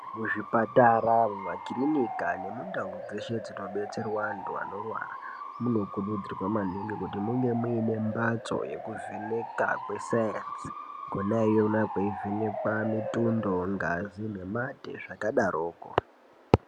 Muzvipatara makiriniki nemundau dzeshe dzinodetserwa antu Anorwara munokuridzirwa maningi kuti munge mune mbatso inovheneka kwesainzi Kona ikoko yeivheneka mutundo ngazi nemate zvakadaroko.